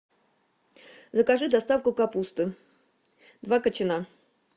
закажи доставку капусты два кочана